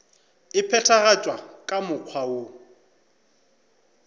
e phethagatšwa ka mokgwa woo